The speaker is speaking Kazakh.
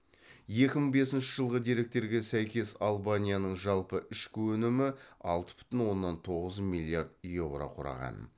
екі мың бесінші жылғы деректерге сәйкес албанияның жалпы ішкі өнімі алты бүтін оннан тоғыз миллиард еуро құраған